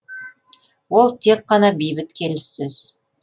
ол тек қана бейбіт келіссөз